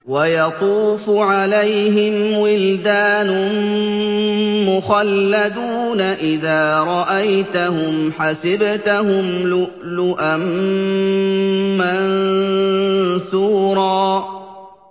۞ وَيَطُوفُ عَلَيْهِمْ وِلْدَانٌ مُّخَلَّدُونَ إِذَا رَأَيْتَهُمْ حَسِبْتَهُمْ لُؤْلُؤًا مَّنثُورًا